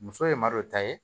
Muso ye malo ta ye